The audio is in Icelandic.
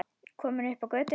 Komin upp á götuna.